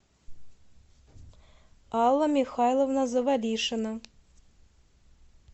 алла михайловна завалишина